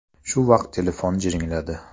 Shu vaqt telefon jiringladi.